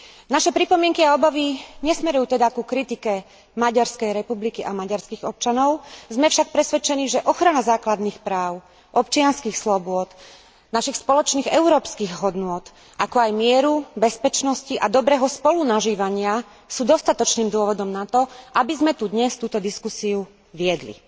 Naše pripomienky a obavy nesmerujú teda ku kritike Maďarskej republiky a maďarských občanov, sme však presvedčení, že ochrana základných práv, občianskych slobôd, našich spoločných európskych hodnôt, ako aj mieru, bezpečnosti a dobrého spolunažívania sú dostatočným dôvodom na to, aby sme tu dnes túto diskusiu viedli.